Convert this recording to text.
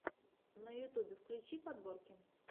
на ютьюбе включи подборки